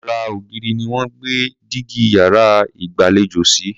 Ara ògiri ni wọ́n gbé dígí yàrá ìgbàlejò sí.